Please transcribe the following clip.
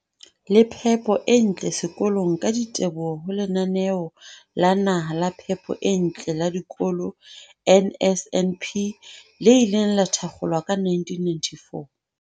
le phepo e ntle sekolong ka diteboho ho Lenaneo la Naha la Phepo e Ntle la Dikolo, NSNP, le ileng la thakgolwa ka 1994.